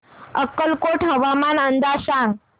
अक्कलकोट हवामान अंदाज सांग